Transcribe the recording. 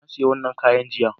Na sayi wannan kayan jiya